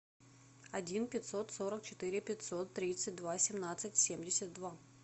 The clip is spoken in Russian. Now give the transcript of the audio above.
один пятьсот сорок четыре пятьсот тридцать два семнадцать семьдесят два